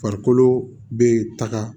Farikolo be taga